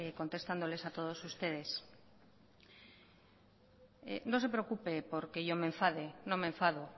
contestándoles a todos ustedes no se preocupe porque yo me enfade no me enfado